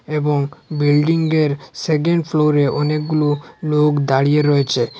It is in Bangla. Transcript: এবং বিল্ডিংঙ্গের সেকেন্ড ফ্লোরে অনেকগুলো লোক দাঁড়িয়ে রয়েছে।